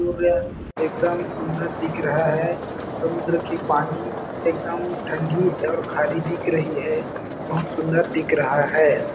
सूर्य एकदम सुन्दर दिख रहा है समुंद्र की पानी के एकदम ठंडी खारी दिख रही है बहुत सुन्दर दिख रहा है।